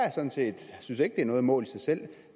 synes ikke det er noget mål i sig selv